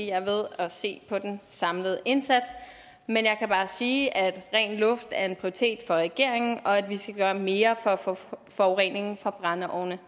er ved at se på den samlede indsats men jeg kan bare sige at rent luft er en prioritet for regeringen og at vi skal gøre mere for at få forureningen fra brændeovne